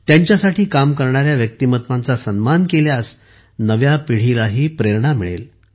त्यांच्यासाठी काम करणाऱ्या व्यक्तिमत्त्वांचा सन्मान केल्यास नव्या पिढीलाही प्रेरणा मिळेल